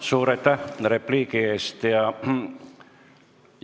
Suur aitäh repliigi eest!